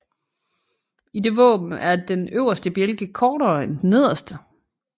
I det våben er den øverste bjælke kortere end den nederste